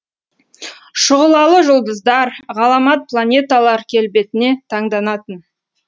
шұғылалы жұлдыздар ғаламат планеталар келбетіне таңданатын